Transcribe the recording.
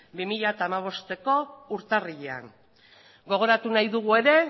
bi mila hamabosteko urtarrilean gogoratu nahi dugu ere